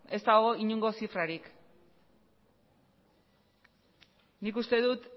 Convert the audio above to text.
ez dago inongo zifrarik nik uste dut